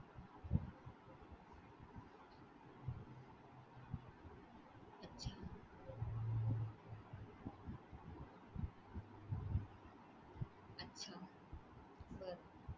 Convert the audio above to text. अच्छा. अच्छा. बरं.